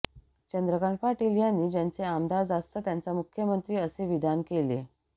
चंद्रकांत पाटील यांनी ज्याचे आमदार जास्त त्याचा मुख्यमंत्री असे विधान केले